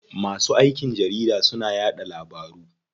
Masu aikin jarida suna yaɗa labaru.